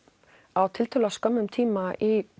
á tiltölulega stuttum tíma í